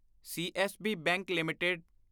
CSB bank limited